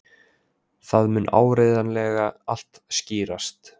Það mun áreiðanlega allt skýrast.